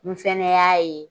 N fɛnɛ y'a ye